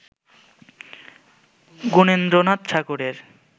গুণেন্দ্রনাথ ঠাকুরের